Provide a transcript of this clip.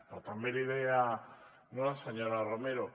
però també li deia la senyora romero